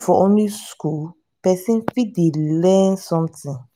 no be for only school person fit dey learn something